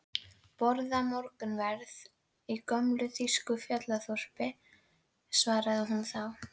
Borða morgunverð í gömlu þýsku fjallaþorpi, svaraði hún þá.